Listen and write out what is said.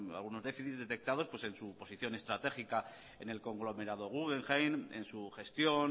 algunos déficits detectados en su posición estratégica en el conglomerado guggenheim en su gestión